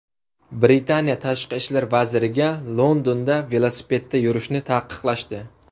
Britaniya tashqi ishlar vaziriga Londonda velosipedda yurishni taqiqlashdi.